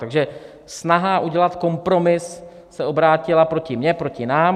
Takže snaha udělat kompromis se obrátila proti mně, proti nám.